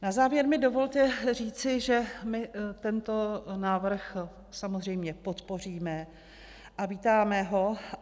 Na závěr mi dovolte říci, že my tento návrh samozřejmě podpoříme a vítáme ho.